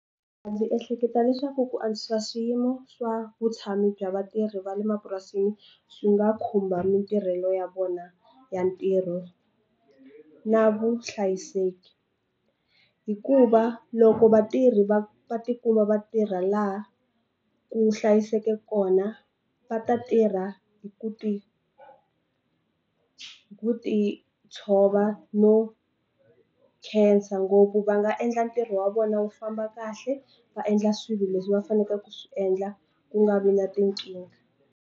Ndzi ehleketa leswaku ku antswisa swiyimo swa vutshamo bya vatirhi va le mapurasini swi nga khumba matirhelo ya vona ya ntirho na vuhlayiseki hikuva loko vatirhi va va tikuma va tirha laha ku hlayiseke kona va ta tirha hi ku ti hi ku ti tshova no khensa ngopfu va nga endla ntirho wa vona wu famba kahle va endla swilo leswi va faneleke ku swi endla ku nga vi na tinkingha.